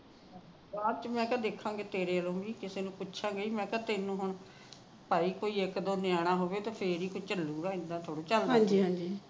ਬਾਅਦ ਚ ਦੇਖਾਗੇ ਤੇਰੇ ਵਾਲਾ ਵੀ ਕਿਸੇ ਨੂੁੰ ਪੁੱਛਾਗੇ ਤੈਨੂੰ ਹੁਣ ਭਾਈ ਇੱਕ ਦੋ ਨਿਆਣਾ ਹੁੰਵੇ ਫੇਰ ਹੀ ਕੋਈ ਚੱਲੇਗਾ